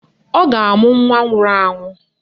Ọ ga-amụ nwa nwụrụ anwụ